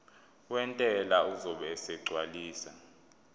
wentela uzobe esegcwalisa